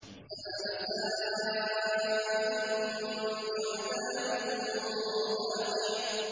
سَأَلَ سَائِلٌ بِعَذَابٍ وَاقِعٍ